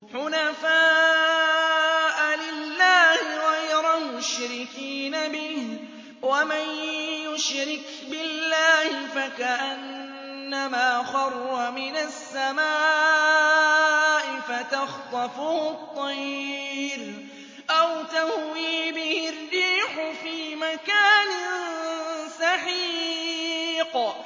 حُنَفَاءَ لِلَّهِ غَيْرَ مُشْرِكِينَ بِهِ ۚ وَمَن يُشْرِكْ بِاللَّهِ فَكَأَنَّمَا خَرَّ مِنَ السَّمَاءِ فَتَخْطَفُهُ الطَّيْرُ أَوْ تَهْوِي بِهِ الرِّيحُ فِي مَكَانٍ سَحِيقٍ